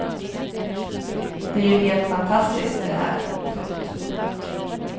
Det är ju helt fantastiskt det här. punkt